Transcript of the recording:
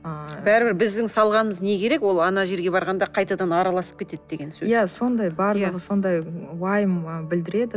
ы бәрібір біздің салғанымыз не керек ол ана жерге барғанда қайтадан араласып кетеді деген сөз иә сондай барлығы сондай уайым білдіреді